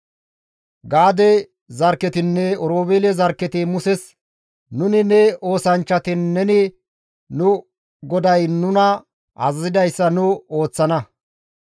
Gaade zarkketinne Oroobeele zarkketi Muses, «Nuni ne oosanchchati neni nu goday nuna azazidayssa nu ooththana.